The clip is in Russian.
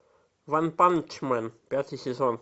ванпанчмен пятый сезон